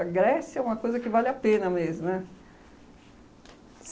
Grécia é uma coisa que vale a pena mesmo, né?